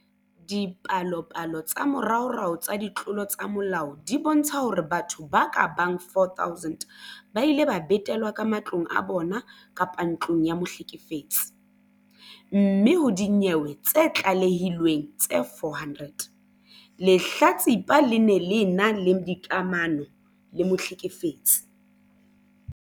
Dipalopalo tsa moraorao tsa ditlolo tsa molao di bontsha hore batho ba ka bang 4 000 ba ile ba betelwa ka matlong a bona kapa ntlong ya mohlekefetsi, mme ho dinyewe tse tlalehilweng tse 400, lehlatsipa le ne le ena le dikamano le mohlekefetsi.